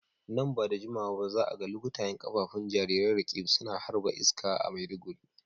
Nan ba da dadewa ba za a ga lukutayen kafafun jarirai Roqeeb suna ta harba iska a Maiduguri.